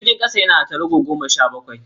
Jirgin kasan yana da tarago goma sha bakwai